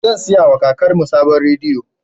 Zan saya ma kakanmu sabon rediyo